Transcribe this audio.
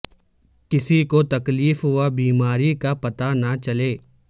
کسی کو تکلیف و بیماری کا پتہ نہ چلے